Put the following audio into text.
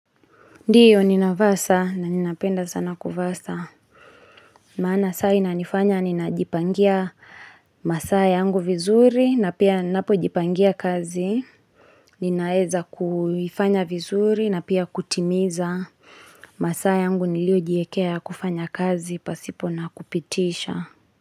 Ndiyo ninavaa saa na ninapenda sana kuvaa saa. Maana saa inanifanya ninajipangia masaa yangu vizuri na pia ninapojipangia kazi. Ninaeza kuifanya vizuri na pia kutimiza. Masaa yangu niliojiekea ya kufanya kazi pasipo na kupitisha.